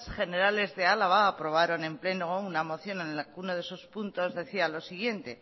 generales de álava aprobaron en pleno una moción que en uno de sus puntos decía lo siguiente